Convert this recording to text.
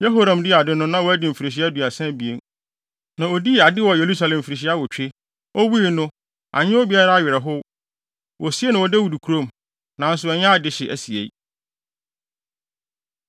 Yehoram dii ade no, na wadi mfirihyia aduasa abien, na odii ade wɔ Yerusalem mfirihyia awotwe. Owui no, anyɛ obiara awerɛhow. Wosiee no wɔ Dawid kurom, nanso ɛnyɛ adehye asiei.